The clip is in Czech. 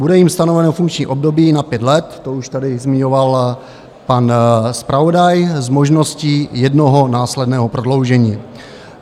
Bude jim stanoveno funkční období na pět let, to už tady zmiňoval pan zpravodaj, s možností jednoho následného prodloužení.